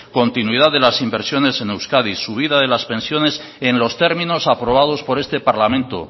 continuidad de las inversiones en euskadi subida de las pensiones en los términos aprobados por este parlamento